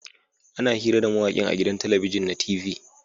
Ana hira da mawakin a gidan talabijin na t.v